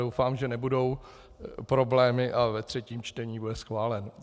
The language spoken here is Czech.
Doufám, že nebudou problémy a ve třetím čtení bude schválen.